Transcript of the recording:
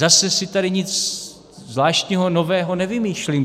Zase si tady nic zvláštního, nového nevymýšlím.